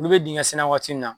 Olu bɛ dingɛn senna waati in na.